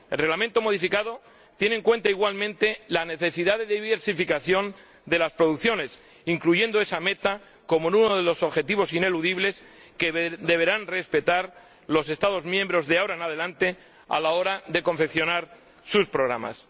El Reglamento modificado tiene en cuenta, igualmente, la necesidad de diversificación de las producciones, incluyendo esa meta como uno de los objetivos ineludibles que deberán respetar los Estados miembros de ahora en adelante, a la hora de confeccionar sus programas.